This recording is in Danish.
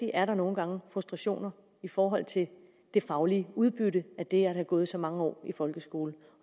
er der nogle gange frustrationer i forhold til det faglige udbytte af det at have gået så mange år i folkeskolen